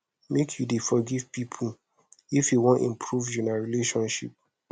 make you dey forgive pipo if you wan improve una relationship